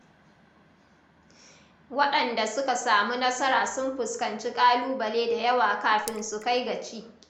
Waɗanda suka samu nasara sun fuskanci ƙalubale da yawa kafin su kai gaci.